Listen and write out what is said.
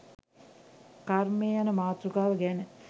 කර්මය යන මාතෘකාව ගැන